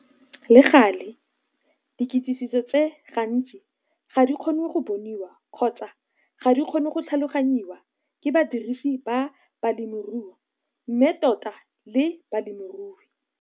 Le gale, dikitsiso tse gantsi ga di kgonwe go bonwa kgotsa ga di kgonwe go tlhalogangwa ke badirisi ba bolemirui mme tota le balemirui.